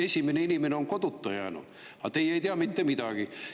Esimesed inimesed on koduta jäänud, aga teie ei tea mitte midagi.